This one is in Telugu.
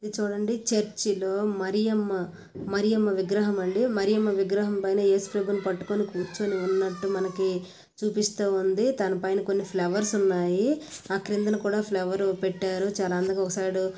ఇది చూడండి చర్చి లో మరియమ్మ మరియమ్మ విగ్రహం అండి మరియమ్మ విగ్రహం పైన ఏసుప్రభు నే పట్టుకొని కూర్చొని ఉన్నట్టు మనకు చూపిస్తుందితనపైన కొన్ని ఫ్లవర్స్ ఉన్నాయి ఆ క్రిందన కూడా ఫ్లవర్ పెట్టారు చాలా అందంగా ఒక సైడ్.